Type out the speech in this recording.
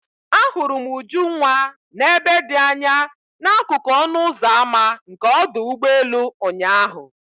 Ahụrụ m Ujunwa n'ebe dị anya n'akụkụ ọnụ ụzọ ámá nke ọdụ ụgbọ elu ụnyahụ.